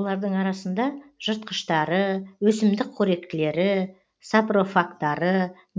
олардың арасында жыртқыштары өсімдік қоректілері сапрофагтары